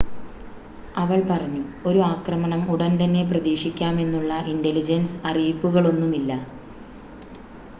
"അവള്‍ പറഞ്ഞു "ഒരു ആക്രമണം ഉടന്‍തന്നെ പ്രതീക്ഷിക്കാമെന്നുള്ള ഇന്‍റലിജന്‍സ് അറിയിപ്പുകളൊന്നുമില്ല.